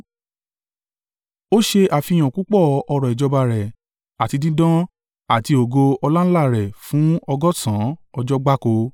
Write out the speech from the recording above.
Ó ṣe àfihàn púpọ̀ ọrọ̀ ìjọba rẹ̀ àti dídán àti ògo ọláńlá rẹ̀ fún ọgọ́sàn-án ọjọ́ gbáko.